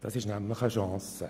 Das ist nämlich eine Chance.